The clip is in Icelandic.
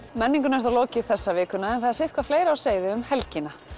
menningunni er þá lokið þessa vikuna en það er sitthvað fleira á seyði um helgina